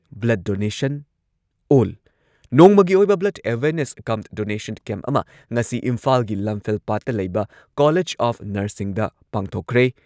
Blood donation ꯑꯣꯜ ꯅꯣꯡꯃꯒꯤ ꯑꯣꯏꯕ blood awareness cum donation camp ꯑꯃ ꯉꯁꯤ ꯏꯝꯐꯥꯜꯒꯤ ꯂꯝꯐꯦꯜꯄꯥꯠꯇ ꯂꯩꯕ ꯀꯣꯂꯦꯖ ꯑꯣꯐ ꯅꯔꯁꯤꯡꯗ ꯄꯥꯡꯊꯣꯛꯈ꯭꯭ꯔꯦ꯫